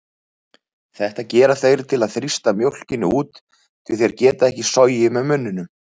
Þetta gera þeir til að þrýsta mjólkinni út því þeir geta ekki sogið með munninum.